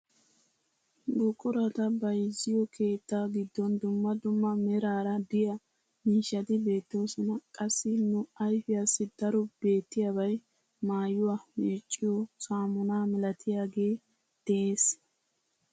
Buqurata bayzziyoo keettaa giddon dumma dumma meraara de'iyaa miishshati beettoosona. qassi nu ayfiyaassi daro beettiyaabay maayuwaa meecciyoo saamunaa milatiyaagee de'ees